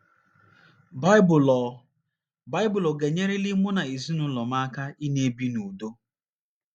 Baịbụl Ọ ̀ Baịbụl Ọ ̀ Ga - enyeliri Mụ na Ezinụlọ M Aka Ịna - ebi n’Udo?